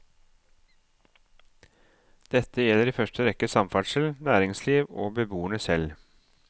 Dette gjelder i første rekke samferdsel, næringsliv og beboerne selv.